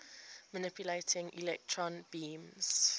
manipulating electron beams